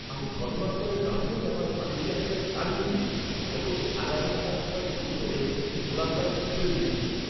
আমি ঘটনাস্থলে দাঁড়িয়েই আমার মালীকে একেবারে তাড়িয়ে দিয়েছি যখন সে আগাছা কাটার সময় ভুল করে কিছু গোলাপ গাছ উপড়ে দিয়েছিল।